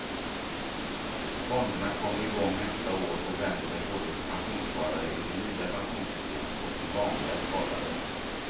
Fonderna kommer igång nästa år och vänder sig både till pensionssparare i det nya pensionssystemet och till vanliga sparare.